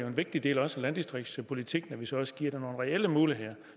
en vigtig del af landdistriktspolitikken så også giver dem nogle reelle muligheder